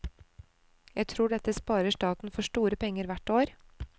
Jeg tror dette sparer staten for store penger hvert år.